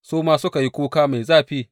Su ma suka yi kuka mai zafi.